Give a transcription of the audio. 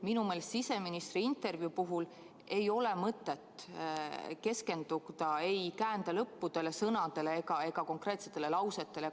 Minu meelest siseministri intervjuu puhul ei ole mõtet keskenduda ei käändelõppudele, sõnadele ega konkreetsetele lausetele.